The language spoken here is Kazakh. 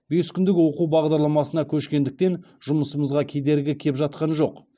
бес күндік оқу бағдарламасына көшкендіктен жұмысымызға кедергі кеп жатқан жоқ